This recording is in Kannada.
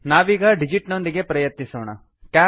ನಾವೀಗ ಡಿಜಿಟ್ ಡಿಜಿಟ್ನೊಂದಿಗೆ ಪ್ರಯತ್ನಿಸೋಣ